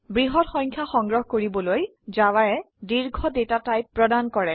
বৃহৎ সংখ্যা সংগ্ৰহ কৰিবলৈ জাভায়ে দীৰ্ঘ ডেটা টাইপ প্ৰদান কৰে